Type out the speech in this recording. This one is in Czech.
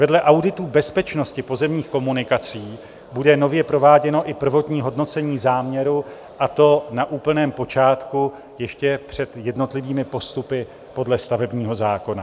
Vedle auditu bezpečnosti pozemních komunikací bude nově prováděno i prvotní hodnocení záměru, a to na úplném počátku, ještě před jednotlivými postupy podle stavebního zákona.